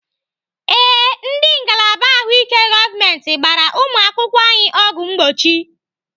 Ee, ndị ngalaba ahụike gọọmenti gbara ụmụakwụkwọ anyị ọgwụ mgbochi.